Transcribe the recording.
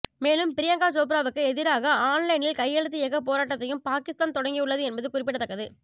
மேலும் பிரியங்கா சோப்ராவுக்கு எதிராக ஆன்லைனில் கையெழுத்து இயக்கப் போராட்டத்தையும் பாகிஸ்தான் தொடங்கியுள்ளது என்பது குறிப்பிடத்தக்கது